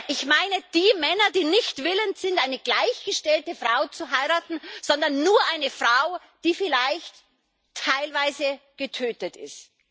Ich meine die Männer, die nicht willens sind, eine gleichgestellte Frau zu heiraten, sondern nur eine Frau, die vielleicht teilweise getötet ist.